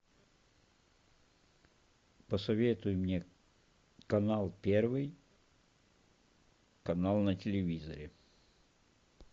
посоветуй мне канал первый канал на телевизоре